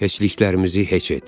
Heçliklərimizi heç et.